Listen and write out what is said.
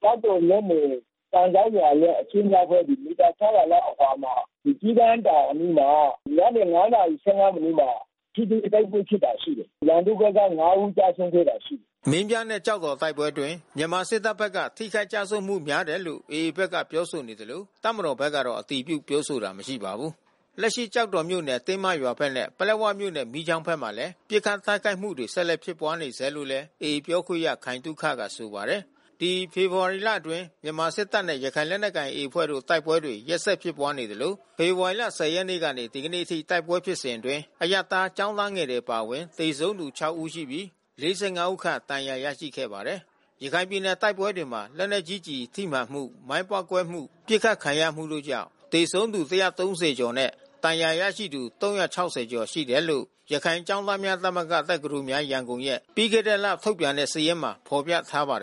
ကျောက်တော်မြို့နယ် ကန်စောက်ရွာရဲ့ အရှေ့မြောက်ဘက် မီတာ ၆၀၀ လောက်အကွာမှာ ဒီ ကျီးကန်းတောင်အနီးမှာ ညနေ ၅ နာရီ ၁၅ မိနစ်မှာ ထိတွေ့ တိုက်ပွဲဖြစ်တာ ရှိတယ်။ ရန်သူ့ဘက်က ၅ ဦး ကျဆုံးခဲ့တာရှိတယ်။” မင်းပြားနဲ့ ကျောက်တော် တိုက်ပွဲအတွင်း မြန်မာစစ်တပ်ဘက်က ထိခိုက်ကျဆုံးမှု များတယ်လို့ AA ဘက်က ပြောဆိုနေသလို တပ်မတော်ဘက်ကတော့ အတည်ပြုပြောဆိုတာ မရှိပါဘူး။ ဒီဖေဖော်ဝါရီလအတွင်း မြန်မာစစ်တပ်နဲ့ ရခိုင်လက်နက်ကိုင် AA အဖွဲ့တို့ တိုက်ပွဲတွေ ရက်ဆက်ဖြစ်ပွားနေသလို ဖေဖော်ဝါရီ ၁၀ ရက်ကနေ ဒီကနေ့အထိ တိုက်ပွဲဖြစ်စဉ်အတွင်း အရပ်သား ကျောင်းသားငယ်တွေ အပါအဝင် သေဆုံးသူ ၆ ဦးရှိပြီး ၄၅ ဦးခန့် ဒဏ်ရာရရှိခဲ့ပါတယ်။ ရခိုင်ပြည်နယ် တိုက်ပွဲတွေမှာ လက်နက်ကြီးကျည်ထိမှန်မှု၊ မိုင်းပေါက်ကွဲမှု၊ ပစ်ခတ်ခံရမှုတို့ကြောင့် သေဆုံးသူ ၁၃၀ ကျော်နဲ့ ဒဏ်ရာရရှိသူ ၃၆၀ ကျော်ရှိတယ်လို့ ရခိုင်ကျောင်းသားများသမဂ္ဂ ရဲ့ ပြီးခဲ့တဲ့လ ထုတ်ပြန်တဲ့စာရင်းမှာ ဖော်ပြထားပါတယ်